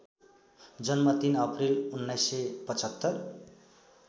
जन्म ३ अप्रिल १९७५